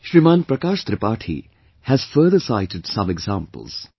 Shriman Prakash Tripathi has further cited some examples